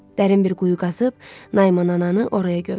Dərin bir quyu qazıb Naiman ananı oraya gömdü.